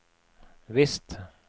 visst